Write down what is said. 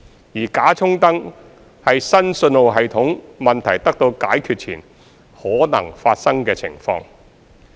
而"假衝燈"是新信號系統問題得到解決前可能發生的情況。